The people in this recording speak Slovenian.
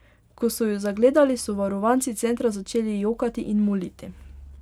Ko so jo zagledali, so varovanci centra začeli jokati in moliti.